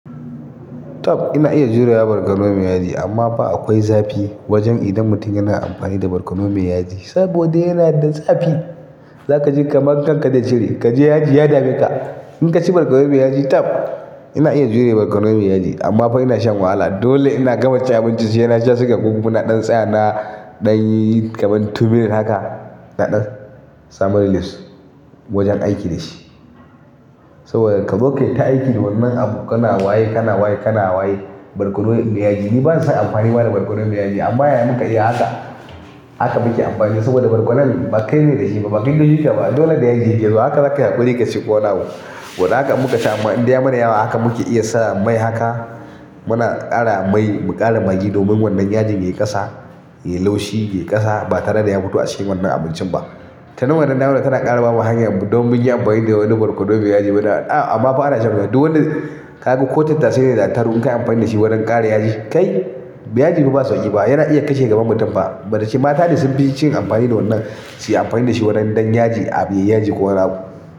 Tab ina iya jurewa barkono mai yaji amma fa akwai zafi wajen idan mutum yana amfani da barkono mai yaji saboda yana da zafi. Zaka ji kaman kanka zai cire, kaji yaji ya dame ka. Inkaci barkono mai yaji tab ina iya jure barkono mai yaji ammafa ina shan wahala dole ina gama cin abincin saina sha siga kokuma naɗan tsaya na ɗanyi kaman tumer haka na ɗan samu relieves wajen aiki da shi. Saboda ka zo kai ta aiki da wannan abu kana waye, kana waye, kana waye barkono mai yaji. Ni bana son amfani ba da barkono mai yaji amma yaya muka iya haka. Haka muke amfani saboda barkonon ba kai ne da shi ba, bakai kayisa ba. Dole da yaji yake zuwa haka zakayi haƙuri ka ci ko wani abu wani haka muka ci amma inda ya mana yawa haka muke iya saka mai haka. Muna ƙara mai mu ƙara magi domin wannan yaji ya yi ƙasa, ya yi laushi, ya yi ƙasa ba tare da ya fito a cikin wannan abincin ba. Tanan wannan damar tana ƙara bamu hanya don mun yi amfani da wannan barkono mai yaji. Muna a amma fa ana shan wuya kaga ko tattasai ne da attarugu in ka yi amfani da shi wajen ƙara yaji. Kai yaji fa ba sauƙi ba, yana iya kashe gaban mutum fa. Badashi mata ne sun fi cin amfani da wannan, su yi amfani da shi don ɗan yaji a bu yaji ko wani abu.